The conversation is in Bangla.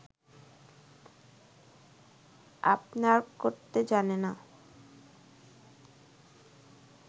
আপনার করতে জানে না